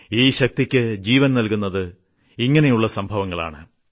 ഈ ശക്തിയ്ക്ക് ജീവൻ നൽകുന്നത് ഇങ്ങിനെയുള്ള സംഭവങ്ങളാണ്